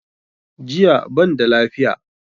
JIya banda lafiya.